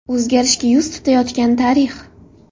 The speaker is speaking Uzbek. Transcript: O‘zgarishga yuz tutayotgan tarix.